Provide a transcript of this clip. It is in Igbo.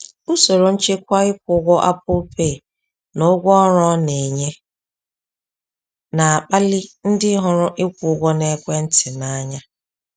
Usoro nchekwa ịkwụ ụgwọ Apple Pay na ụgwọ ọrụ ọ na-enye na-akpali ndị hụrụ ịkwụ ụgwọ n’ekwentị n’anya.